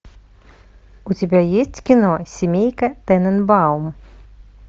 у тебя есть кино семейка тененбаум